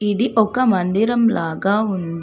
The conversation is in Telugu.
ఇది ఒక మందిరం లాగా ఉంది.